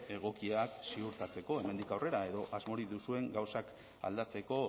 egokiak ziurtatzeko hemendik aurrera edo asmorik duzuen gauzak aldatzeko